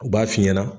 U b'a f'i ɲɛna